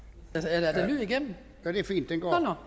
er der lyd igennem